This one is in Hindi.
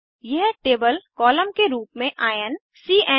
यह टेबल कॉलम के रूप में आयन cएन